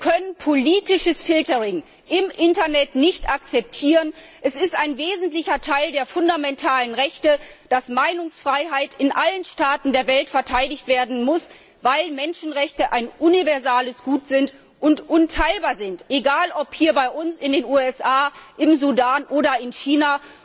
Wir können politisches filtering im Internet nicht akzeptieren. Es ist ein wesentlicher Teil der fundamentalen Rechte, dass die Meinungsfreiheit in allen Staaten der Welt verteidigt werden muss. Menschenrechte sind ein universales Gut und unteilbar, egal ob hier bei uns, in den USA, im Sudan oder in China.